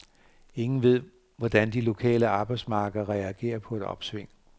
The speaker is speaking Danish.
Ingen ved, hvordan de lokale arbejdsmarkeder reagerer på et opsving.